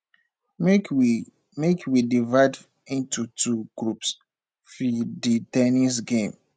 make we make we divide into two groups fir the ten nis game